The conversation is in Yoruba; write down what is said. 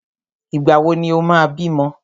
Ìgbà wò ni o máa bímọ?